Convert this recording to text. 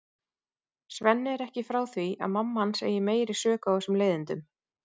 Svenni er ekki frá því að mamma hans eigi meiri sök á þessum leiðindum.